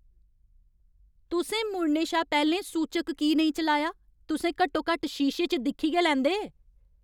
तुसें मुड़ने शा पैह्लें सूचक की नेईं चलाया? तुसें घट्टोघट्ट शीशे च दिक्खी गै लैंदे।